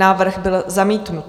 Návrh byl zamítnut.